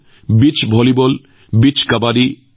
এই বছৰৰ আৰম্ভণিতে দিউত এই বীচ্চ গেমছ আয়োজন কৰা হৈছিল